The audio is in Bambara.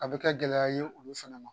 A bɛ kɛ gɛlɛya ye olu fana ma